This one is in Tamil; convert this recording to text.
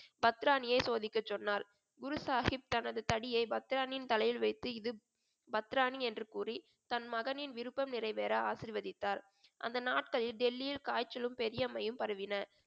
பத்ராணியை சோதிக்கச் சொன்னார் குரு சாஹிப் தனது தடியை பத்ராணியின் தலையில் வைத்து இது பத்ராணி என்று கூறி தன் மகனின் விருப்பம் நிறைவேற ஆசீர்வதித்தார் அந்த நாட்களில் டெல்லியில் காய்ச்சலும் பெரியம்மையும் பரவின